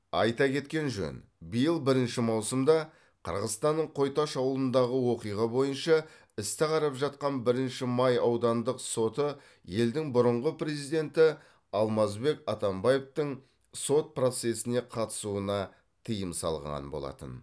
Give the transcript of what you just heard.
айта кеткен жөн биыл бірінші маусымда қырғызстанның қой таш ауылындағы оқиға бойынша істі қарап жатқан бірінші май аудандық соты елдің бұрынғы президенті алмазбек атамбаевтың сот процесіне қатысуына тыйым салған болатын